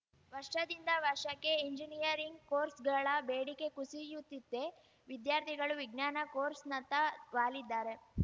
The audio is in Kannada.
ವರ್ಷದಿಂದ ವರ್ಷಕ್ಕೆ ಎಂಜಿನಿಯರಿಂಗ್‌ ಕೋರ್ಸ್‌ಗಳ ಬೇಡಿಕೆ ಕುಸಿಯುತ್ತಿದೆ ವಿದ್ಯಾರ್ಥಿಗಳು ವಿಜ್ಞಾನ ಕೋರ್ಸ್‌ನತ್ತ ವಾಲಿದ್ದಾರೆ